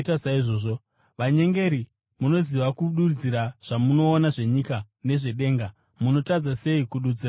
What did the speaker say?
Vanyengeri! Munoziva kududzira zvamunoona zvenyika nezvedenga. Munotadza sei kududzira nguva ino?